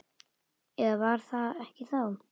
Eða var það ekki þá?